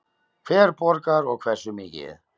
Hver borgar og hversu mikið?